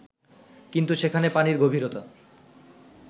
কিন্তু সেখানে পানির গভীরতা